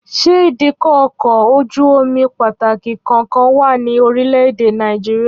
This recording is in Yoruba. Ṣé ìdíkọ̀ ọkọ̀ ojú-omi pàtàkì kankan wà ní orílẹ̀ èdè Nàìjíríà?